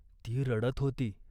ती रडत होती.